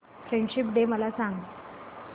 friendship day मला सांग